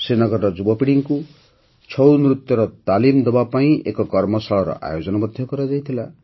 ଶ୍ରୀନଗରର ଯୁବପିଢ଼ିଙ୍କୁ ଛଉ ନୃତ୍ୟର ତାଲିମ ଦେବାପାଇଁ ଏକ କର୍ମଶାଳାର ଆୟୋଜନ ମଧ୍ୟ କରାଯାଇଥିଲା